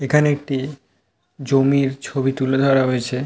এইখানে একটি জমির ছবি তুলে ধরা হয়েছে।